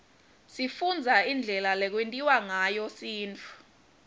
sifundza indlela lekwentiwa ngayo sintfu